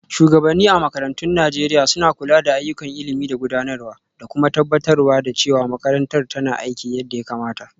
Shugabanni a makarantun Najeriya l suna kula da ayyukan ilimi da gudanarwa, da kuma tabbatar da cewa makarantar tana aiki yadda ya kamata.